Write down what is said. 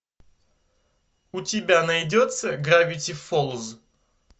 у тебя найдется гравити фолз